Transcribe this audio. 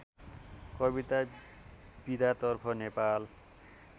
कविता विधातर्फ नेपाल